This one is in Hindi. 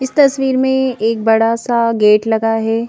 इस तस्वीर में एक बड़ा सा गेट लगा है।